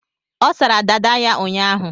Ọ sara dada ya ụnyaahụ.